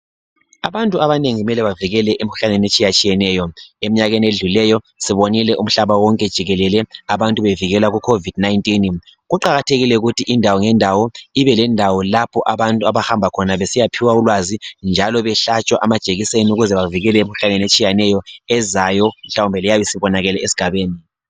Abantu abanengi kumele bavikeleke emkhuhlaneni etshiyatshiyeneyo. Emnyakeni edlulileyo sibonile umhlaba wonke jikelele abantu bevikela ku covid 19. Kuqakathekile ukuthi indawo ngendawo ibe lendawo lapho abantu abahamba khona besiyaphiwa ulwazi njalo behlatshwa amajekiseni ukuze bavikeleke emkhuhlaneni etshiyeneyo ezayo mhlawumbe leyabe isibonakele esigabeni.